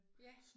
Ja